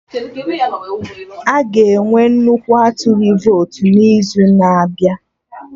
Aga enwe nnukwu atụghị votu n'izu na-abịa